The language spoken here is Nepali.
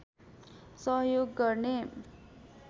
सहयोग गर्ने